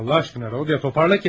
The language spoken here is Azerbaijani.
Allah eşqinə, Rodiya, toparla özünü.